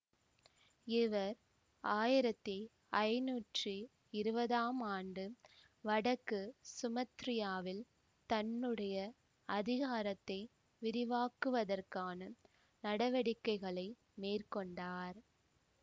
அவர் ஆயிரத்தி ஐநூற்றி இருபதாம் ஆண்டு வடக்கு சுமத்திராவில் தன்னுடைய அதிகாரத்தை விரிவாக்குவதற்கான நடவடிக்கைகளை மேற்கொண்டார்